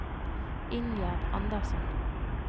Ingjerd Andersson